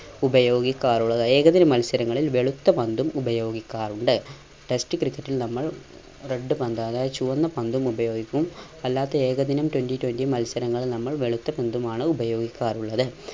ഉപയോഗിക്കാറുള്ളത്. ഏകദിന മത്സരങ്ങളിൽ വെളുത്ത പന്തും ഉപയോഗിക്കാറുണ്ട് test ക്രിക്കറ്റിൽ നമ്മൾ red പന്ത് അതായത് ചുവന്ന പന്തും ഉപയോഗിക്കും അല്ലാത്ത ഏകദിനം twenty twenty മത്സരങ്ങളിൽ നമ്മൾ വെളുത്ത പന്തുമാണ് ഉപയോഗിക്കാറുള്ളത്.